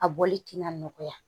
A bɔli tina nɔgɔya